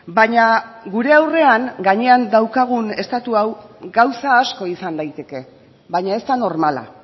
baina gure aurrean gainean daukagun estatu hau gauza asko izan daiteke baina ez da normala